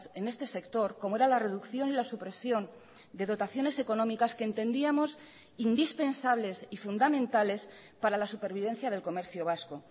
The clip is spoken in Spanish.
en este sector como era la reducción y la supresión de dotaciones económicas que entendíamos indispensables y fundamentales para la supervivencia del comercio vasco